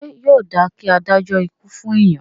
Ṣé yóò dáa kí a dájọ́ ikú fún èèyàn?